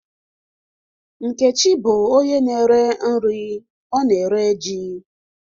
Nkechi bụ onye na-ere nri, ọ na-ere ji.